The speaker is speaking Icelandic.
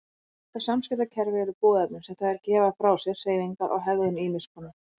Þetta samskiptakerfi eru boðefni sem þær gefa frá sér, hreyfingar og hegðun ýmiss konar.